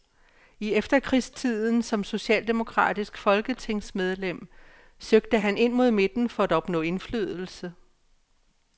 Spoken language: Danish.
I efterkrigstiden som socialdemokratisk folketingsmedlem søgte han ind mod midten for at opnå indflydelse.